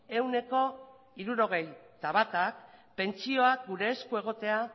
ehuneko hirurogeita batak pentsioak gure esku egotea